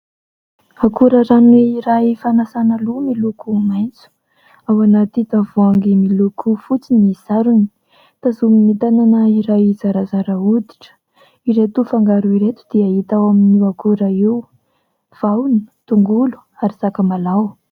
Akora rano iray fanasàna loha miloko maitso. Ao anaty tavoahangy miloko fotsy ny sarony. Tazonina tanana iray zarazara hoditra iray. Ireto fangaro ireto dia hita ao amin'io akora io vahona, tongolo ary sakamalao.